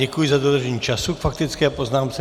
Děkuji za dodržení času k faktické poznámce.